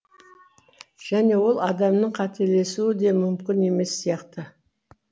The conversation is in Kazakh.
және ол адамның қателесуі де мүмкін емес сияқты